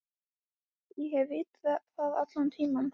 Ég hef vitað það allan tímann.